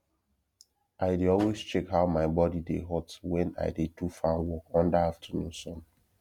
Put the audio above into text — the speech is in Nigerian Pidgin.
i dey always check how my body dey hot wen i dey do farm work under afternoon sun